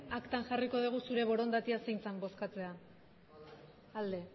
aktan jarriko dugu zure borondatea zein zen bozkatzea alde